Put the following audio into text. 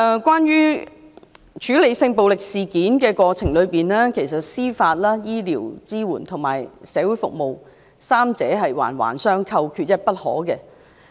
關於處理性暴力事件的過程，其實司法、醫療及社會服務支援三者環環相扣，缺一不可。